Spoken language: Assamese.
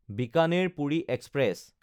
বিকানেৰ–পুৰি এক্সপ্ৰেছ